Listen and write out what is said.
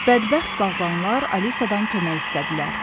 Bədbəxt bağbanlar Alisadan kömək istədilər.